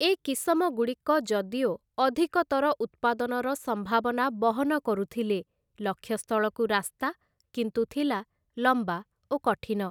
ଏ କିସମଗୁଡ଼ିକ ଯଦିଓ ଅଧିକତର ଉତ୍ପାଦନର ସମ୍ଭାବନା ବହନ କରୁଥିଲେ, ଲକ୍ଷ୍ୟସ୍ଥଳକୁ ରାସ୍ତା କିନ୍ତୁ ଥିଲା ଲମ୍ବା ଓ କଠିନ ।